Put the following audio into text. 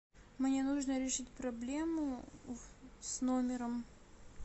мне нужно решить проблему с номером